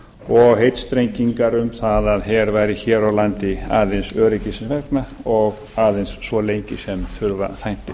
og heitstrengingar um það að her væri hér á landi aðeins öryggisins vegna og aðeins svo lengi sem þurfa þætti